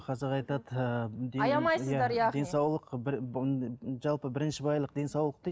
қазақ айтады ыыы денсаулық бір жалпы бірінші байлық денсаулық дейді